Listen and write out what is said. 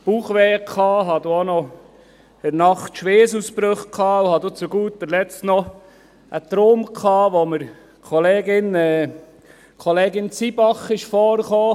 Ich hatte in der Nacht Schweissausbrüche, und zu guter Letzt hatte ich noch einen Traum, in welchem Kollegin Zybach vorkam.